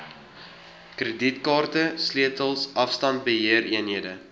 kredietkaarte sleutels afstandbeheereenhede